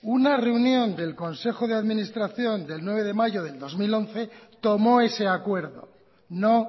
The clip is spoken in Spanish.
una reunión del consejo de administración del nueve mayo del dos mil once tómo ese acuerdo no